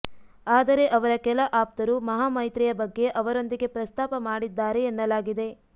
ಆದರೆ ಅವರ ಕೆಲ ಆಪ್ತರು ಮಹಾಮೈತ್ರಿಯ ಬಗ್ಗೆ ಅವರೊಂದಿಗೆ ಪ್ರಸ್ತಾಪ ಮಾಡಿದ್ದಾರೆ ಎನ್ನಲಾಗಿದೆ